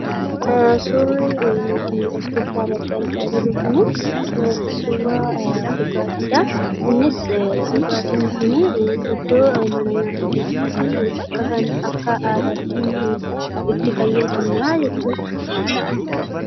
Suurri nuti as gubbaa irratti argaa jirru kuni, suuraa dhugaatiidha. Inniis dhugaatiin kuni iddoo mana nyaataa keessatti akka aadaatti itti fayyadamna jechuudha.